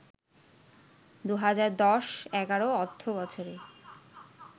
২০১০-১১ অর্থবছরে